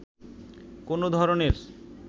কোনো ধরনের